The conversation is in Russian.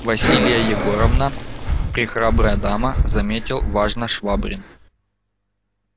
василия егоровна прехрабрая дама заметил важно швабрин